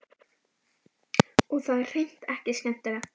Og það er hreint ekki skemmtilegt.